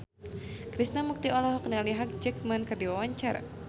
Krishna Mukti olohok ningali Hugh Jackman keur diwawancara